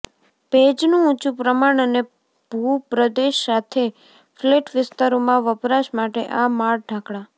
ભેજનું ઊંચું પ્રમાણ અને ભૂપ્રદેશ સાથે ફ્લેટ વિસ્તારોમાં વપરાશ માટે આ માળ ઢાંકવા